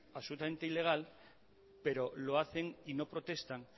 absolutamente ilegal pero lo hacen y no protestan